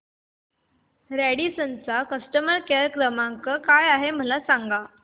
Radisson चा customer care क्रमांक काय आहे मला सांगा